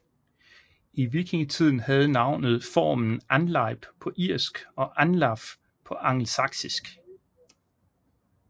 I vikingetiden havde navnet formen Anlaib på irsk og Anlaf på angelsaksisk